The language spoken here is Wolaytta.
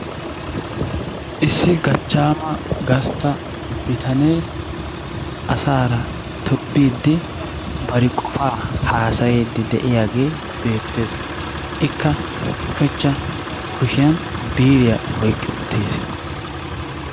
Issi gachchaama gastta bitanee asaara tobbiiddi, bari qofaa haasayiiddi de'iyagee beettees. Ikka ushachcha kushiyani biiriya oyqqi uttiis.